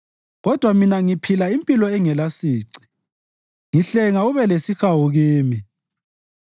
Kodwa mina ngiphila impilo engelasici; ngihlenga ube lesihawu kimi.